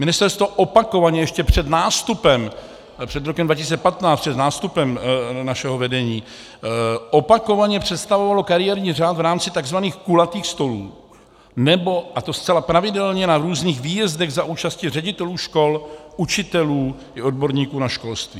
Ministerstvo opakovaně ještě před nástupem - před rokem 2015, před nástupem našeho vedení - opakovaně představovalo kariérní řád v rámci tzv. kulatých stolů nebo, a to zcela pravidelně, na různých výjezdech za účasti ředitelů škol, učitelů i odborníků na školství.